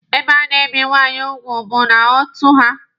Ebe a na-ebi nwaanyị ugwu bụ n'ọtụ ha.